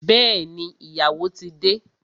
Bẹẹni, ìyàwó ti de